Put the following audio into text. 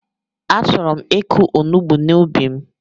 Achọrọ m ịkụ onugbu n'ubi m